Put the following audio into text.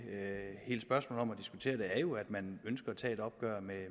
jo er at man ønsker at tage et opgør med